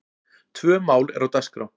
Tvö mál eru á dagskrá.